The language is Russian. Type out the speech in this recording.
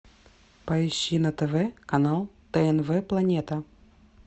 поищи на тв канал тнв планета